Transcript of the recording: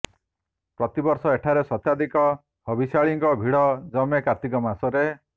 ପ୍ରତିବର୍ଷ ଏଠାରେ ଶତାଧିକ ହବିଷ୍ୟାଳିଙ୍କ ଭିଡ ଜମେ କାର୍ତ୍ତିକ ମାସରେ